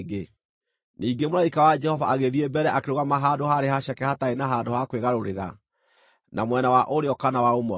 Ningĩ mũraika wa Jehova agĩthiĩ mbere akĩrũgama handũ haarĩ haceke hataarĩ na handũ ha kwĩgarũrĩra, na mwena wa ũrĩo kana wa ũmotho.